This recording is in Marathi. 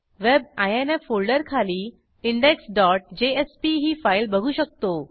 web आयएनएफ फोल्डरखाली इंडेक्स डॉट जेएसपी ही फाईल बघू शकतो